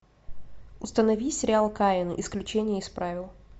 установи сериал каин исключение из правил